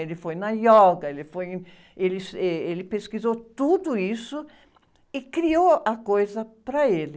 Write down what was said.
Ele foi na yoga, ele foi em, ele, êh, ele pesquisou tudo isso e criou a coisa para ele.